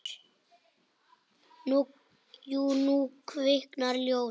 Jú, nú kviknar ljós.